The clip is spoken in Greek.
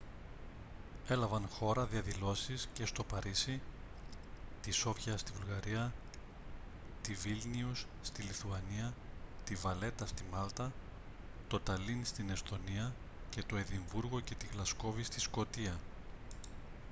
έλαβαν χώρα διαδηλώσεις και στο παρίσι τη σόφια στη βουλγαρία τη βίλνιους στη λιθουανία τη βαλέτα στη μάλτα το ταλίν στην εσθονία και το εδιμβούργο και τη γλασκόβη στη σκωτία